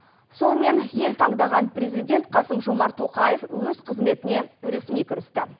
сонымен ел таңдаған президент қасым жомарт тоқаев өз қызметіне ресми кірісті